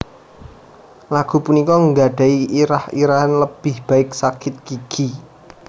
Lagu punika nggadhahi irah irahan Lebih Baik Sakit Gigi